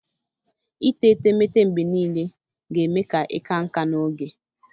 Ite etemeete mgbe niile ga-eme ka ịka nká n'oge